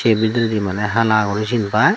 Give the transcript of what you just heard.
ey bidiredi maney hala guri sin pai.